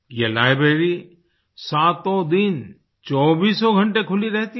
ये लाइब्रेरी सातों दिन चौबीसों घंटे खुली रहती है